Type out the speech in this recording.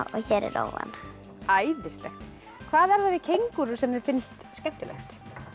er rófan æðislegt hvað er það við kengúrur sem þér finnst skemmtilegt